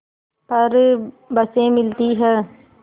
पर बसें मिलती हैं